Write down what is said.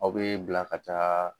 Aw be bila ka taa